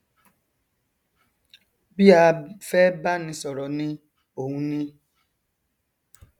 bí a fẹ báni sọrọ ni òun ni